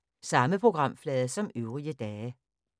Samme programflade som øvrige dage